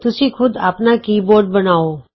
ਤੁਸੀਂ ਖੁਦ ਆਪਣਾ ਕੀਬੋਰਡ ਬਣਾਉ